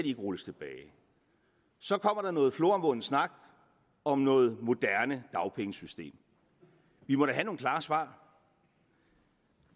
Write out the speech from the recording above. ikke rulles tilbage så kommer der noget floromvundet snak om noget moderne dagpengesystem vi må da have nogle klare svar